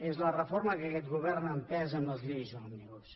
és la reforma que aquest govern ha empès amb les lleis òmnibus